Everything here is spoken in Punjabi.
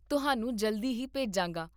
ਤੁਹਾਨੂੰ ਜਲਦੀ ਹੀ ਭੇਜਾਂਗਾ